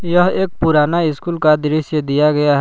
यह एक पुराना स्कूल का दृश्य दिया गया--